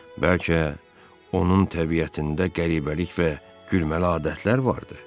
Bəlkə onun təbiətində qəribəlik və gülməli adətlər vardı?